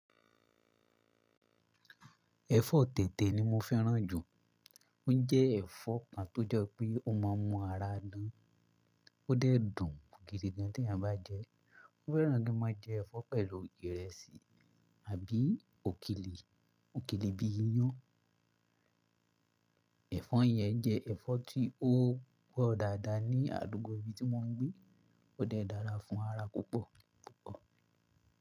Ẹ̀fọ́ tètè ni mo fẹ́ràn jù. Ó jẹ́ ẹ̀fọ́ kan tó jẹ wi pé ó má a mún ara dán. Ó dẹ̀ dùn gidi gan tí eyan bá jẹ ẹ́. Mo fẹ́ràn kí n má a jẹ ẹ̀fọ́ pẹ̀lú ìrẹsì àbí òkèlè, òkèlè bí i iyán. Ẹ̀fọ́ yẹn jẹ́ ẹ̀fọ́ tí ó pọ́ dáadáa ní àdúgbò ibi tí mo ń gbé. Ó dẹ̀ dára fún ara púpọ̀ púpọ̀.